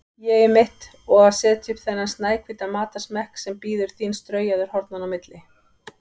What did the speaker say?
ÉG-ið mitt, og setja upp þennan snæhvíta matarsmekk sem bíður þín straujaður hornanna á milli.